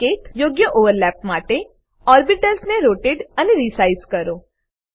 સંકેતયોગ્ય overlap માટે orbitals ને rotate અને રિસાઈઝ કરો